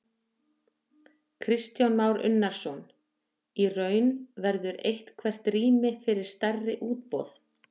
Kristján Már Unnarsson: Í raun, verður eitthvert rými fyrir stærri útboð?